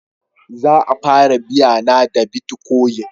Za a fara biya na da bitcoin